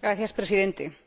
Señor Presidente, señor